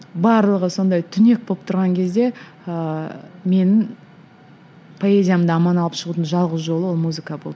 барлығы сондай түнек болып тұрған кезде ыыы менің поэзиямды аман алып шығудың жалғыз жолы ол музыка болды